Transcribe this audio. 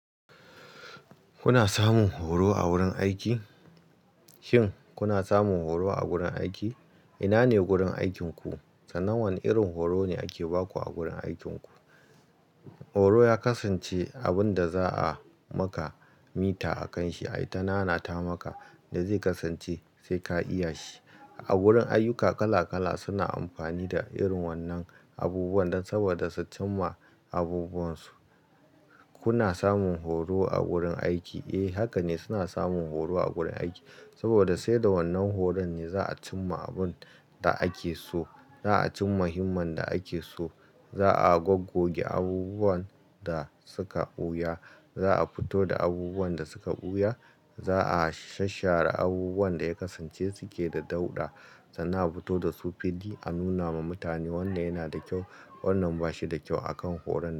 Kuna samun horo a wurin aiki? Shin kuna samun horo a gurin aiki? Ina ne gurin aikinku? Sannan wane irin horo ne ake baku a gurin aikinku? Horo ya kasance abun da za a maka mita a kan shi, ai ta na na ta maka da zai kasance sai ka iya shi. A wurin ayyuka kala kala suna amfani da irin wannan abubuwan dan saboda su cim ma abubuwan su. Kuna samun horo a gurin aiki? Eh haka ne suna samun horo a gurin aiki saboda sai da wannan horon ne za a cim ma abun da ake so. Za'a cim ma himman da ake so. Za'a goggoge abubuwan da suka ɓuya. Za'a fito da abubuwan da suka ɓuya. Za'a shashshare abubuwan da ya kasance suke da dauɗa sannan a fito da su fiddi a nuna ma mutane wanda yana da kyau wannan bashi da kyau a kan horon.